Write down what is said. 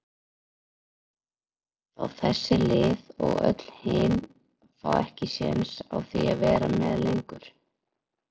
fá þessi lið og öll hin fá ekki séns á því að vera með lengur?